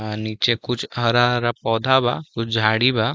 आ नीचे कुछ हरा-हरा पौधा बा कुछ झाड़ी बा।